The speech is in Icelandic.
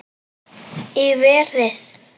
Í verið